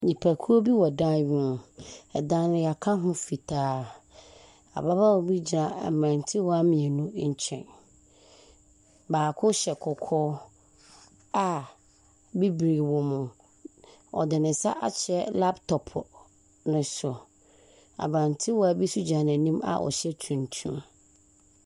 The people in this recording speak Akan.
Nnipakuo bi wɔ dan bi mu. Ɛdan no yɛaka ho fitaa. Ababaawa bi gyina mmrantewa mmienu nkyɛn. Baako hyɛ kɔkɔɔ a bibire wɔ mu. Ɔde ne nsa ahwe laptop no so. Abrantewa bi nso gyina ne nkyɛn a ɔhyɛ tuntum.